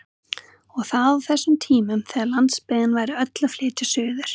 Og það á þessum tímum þegar landsbyggðin væri öll að flytja suður!